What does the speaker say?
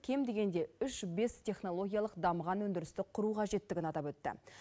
кем дегенде үш бес технологиялық дамыған өндірісті құру қажеттігін атап өтті